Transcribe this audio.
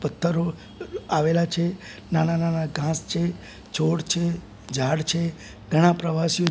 પથ્થરો આવેલા છે નાના નાના ઘાસ છે છોડ છે ઝાડ છે ઘણા પ્રવાસી--